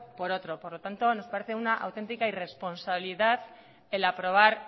por otro por lo tanto nos parece una auténtica irresponsabilidad el aprobar